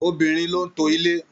Obìnrin ló n to ilé.